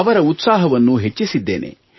ಅವರ ಉತ್ಸಾಹವನ್ನು ಹೆಚ್ಚಿಸಿದ್ದೇನೆ